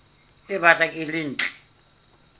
e batlang e le ntle